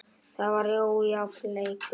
Það var ójafn leikur.